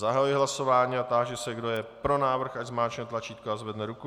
Zahajuji hlasování a táži se, kdo je pro návrh, ať zmáčkne tlačítko a zvedne ruku.